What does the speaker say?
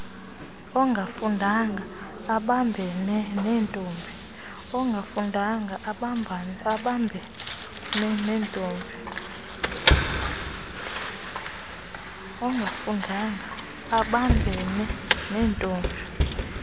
ongafundanga abambene nentombi